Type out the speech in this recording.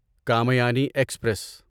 Kamayani express